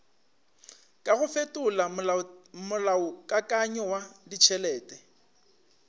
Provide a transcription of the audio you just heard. kago fetola molaokakanywa wa ditšhelete